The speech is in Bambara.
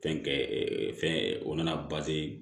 Fɛn kɛ fɛn o na na